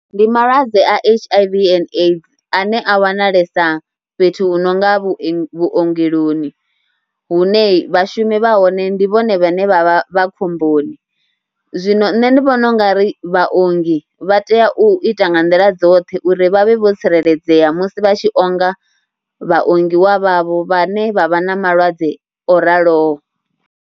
Ndi malwadze a H_I_V and AIDS ane a wanalesa fhethu hu no nga vhuye, vhuongeloni hune vhashumi vha hone ndi vhone vhane vha vha khomboni. Zwino nṋe ndi vhona u nga ri vhaongi vha tea u ita nga nḓila dzoṱhe uri vha vhe vho tsireledzea musi vha tshi onga vhaongiwa vhavho vhane vha vha na malwadze o raloho.